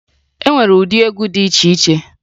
E nwere ụdị egwu dị iche iche